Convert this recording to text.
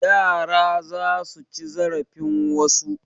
Yara za su ci zarafin wasu.